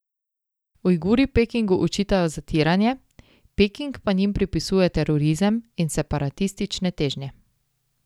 Ujguri Pekingu očitajo zatiranje, Peking pa njim pripisuje terorizem in separatistične težnje.